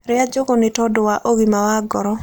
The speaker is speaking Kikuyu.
Rĩa njũgũ nĩtondũ wa ũgima wa ngoro